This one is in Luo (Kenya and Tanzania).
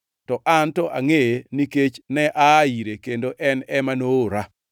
to an to angʼeye nikech ne aa ire, kendo en ema noora.”